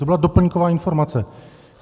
To byla doplňková informace.